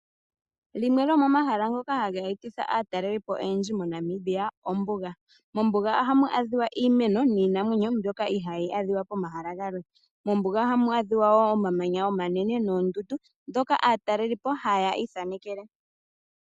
Limwe lyo momahala ngoka ha ga etitha aatalelipo oyendji moNamibia ombuga. Mombuga oha mu adhiwa iimeno niinamwenyo mbyoka ihaa yi adhiwa pomahala galwe. Mombuga oha mu adhiwa wo omamanya omanene noondundu ndhoka aatalelipo haya ithanekele.